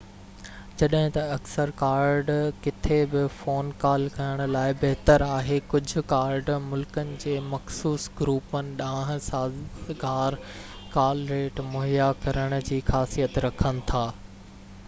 جڏهن ته اڪثر ڪارڊ ڪٿي به فون ڪال ڪرڻ لاءِ بهتر آهن ڪجهه ڪارڊ ملڪن جي مخصوص گروپن ڏانهن سازگار ڪال ريٽ مهيا ڪرڻ جي خاصيت رکن ٿا